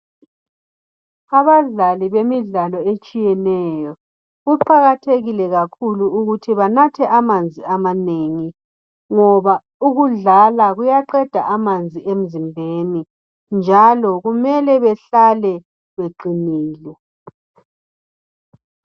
abadlali bemidlalo etshiyeneyo kuqakathekile kakhulu ukuthi banathe amanzi amanengi ngoba ukudlala kuyaqeda amanzi emzimbeni njalo kumele behlale beqinile